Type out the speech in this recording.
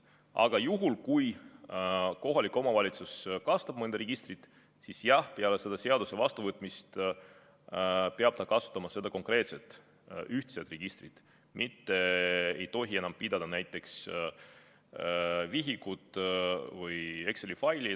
Aga juhul, kui kohalik omavalitsus kasutab mõnda registrit, siis jah, peale selle seaduse vastuvõtmist peab ta kasutama seda konkreetset ühtset registrit, mitte ei tohi enam pidada näiteks vihikut või Exceli faili.